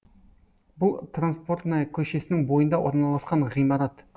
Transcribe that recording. бұл транспортная көшесінің бойында орналасқан ғимарат